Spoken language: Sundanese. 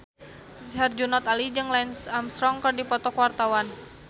Herjunot Ali jeung Lance Armstrong keur dipoto ku wartawan